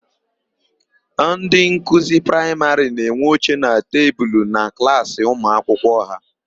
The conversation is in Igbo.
Ndị nkuzi praịmarị na-enwe oche na tebulu na klaasị ụmuakwụkwọ ha.